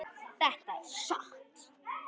Þetta er satt!